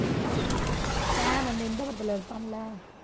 சாம் அந்த இந்த படத்துல இருப்பான்ல